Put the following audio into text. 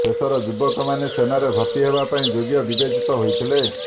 ଶେଷର ଯୁବକମାନେ ସେନାରେ ଭର୍ତ୍ତି ହେବା ପାଇଁ ଯୋଗ୍ୟ ବିବେଚିତ ହୋଇଥିଲେ